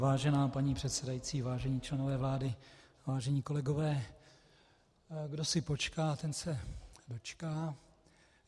Vážená paní předsedající, vážení členové vlády, vážení kolegové, kdo si počká, ten se dočká.